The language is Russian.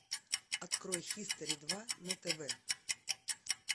открой хистори два на тв